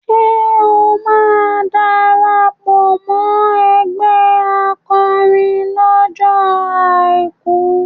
Ṣé o máa darapọ̀ mọ́ ẹgbẹ́ akọrin lọ́jọ́ Àìkú?